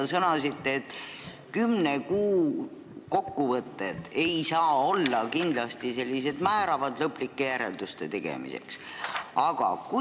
Te sõnasite, et kümne kuu kokkuvõtted ei saa kindlasti olla määravad, lõplikke järeldusi ei saa veel teha.